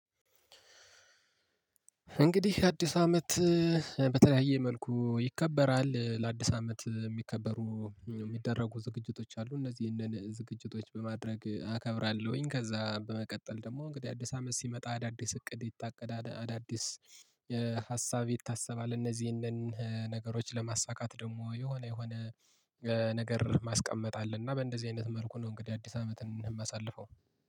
እንግዲህ አዲስ አመት በተለያየ መልኩ ይከበራል። ለአዲስ አመት የሚከበሩ የሚደረጉ ዝግጅቶች አሉ እነዚህን ዝግጅቶች በማድረግ አከብራለሁኝ። ከዛ በመቀጠል ደግሞ እንግዲህ አዲስ አመት ሲመጣ አዳዲስ እቅድ የታቀደ አዳዲስ ሀሳብ ይታሰባል። እነዚህንን ነገሮች ለማሳካት ደግሞ የሆነ የሆነ ነገር ማስቀመጥ አለና በእንደዚህ አይነት መልኩ ነው። እንግዲህ አዲስ አመት እማሳልፈው